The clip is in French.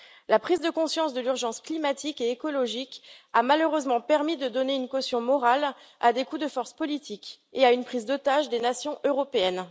La prise de conscience de l'urgence climatique et écologique a malheureusement permis de donner une caution morale à des coups de force politique et à une prise d'otage des nations européennes.